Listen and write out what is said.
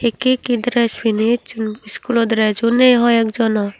hekkey hekkey dress pini echun school o dress u ney hoi ek jonor.